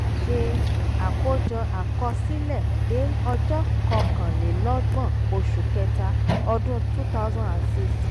ṣe àkójọ àkọsílẹ̀ de ọjọ́ kọkànlélọ́gbọ̀n oṣù kẹ́ta ọdún two thousand and six.